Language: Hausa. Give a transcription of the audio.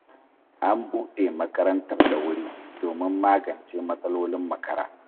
An buɗe makarantar da wuri domin magance matsalolin makara.